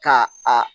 Ka a